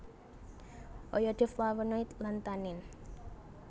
Oyode flavonoid lan tanin